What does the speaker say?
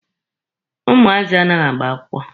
Ụmụazị anaghị agba akwụkwọ.